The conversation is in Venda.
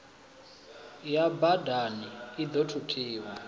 ya badani i ḓo thuthiwa